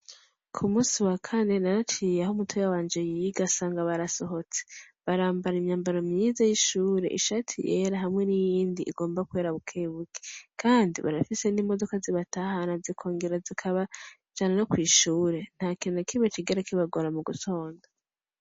Kumusi wa Kane naraciye aho mutoyi wanje yiga nsanga barasohotse, barambara imyambaro myiza y’ishure ishati yera hamwe niyindi igomba kwera bukebuke Kandi barafise nimodoka zibatahana zikongera zikabajana no kwishure ntakintu nakimwe cigera kibagora mugutonda.